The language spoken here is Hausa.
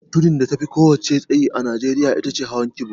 Tudun da tafi ko'ina tsayi a Nijeriya ita ce hawar kibo